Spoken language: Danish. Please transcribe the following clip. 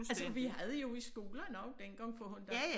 Altså vi havde jo i skolen også dengang for hundan